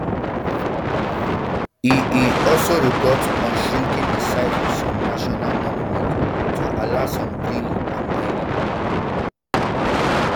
e e also report on shrinking di size of some national monuments to allow more drilling and mining